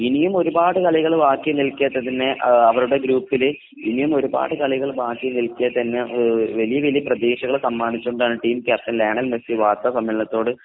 ഇനിയും ഒരുപാട് കളികൾ ബാക്കി നിൽക്കെ തന്നെ അവരുടെ ഗ്രൂപുകളിൽ വലിയ വലിയ വലിയ പ്രതീക്ഷകൾ സമ്മാനിച്ചുകൊണ്ട് ടീം ക്യാപ്റ്റൻ വാർത്താസമ്മേളനത്തിൽ